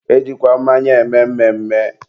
e jikwa mmanya eme mmemme.